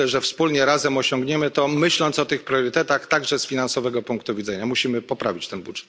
I myślę, że wspólnie razem osiągniemy to, myśląc o tych priorytetach także z finansowego punktu widzenia. Musimy poprawić ten budżet.